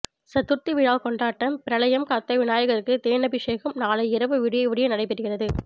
சதுர்த்தி விழா கொண்டாட்டம் பிரளயம் காத்த விநாயகருக்கு தேனாபிஷேகம் நாளை இரவு விடிய விடிய நடைபெறுகிறது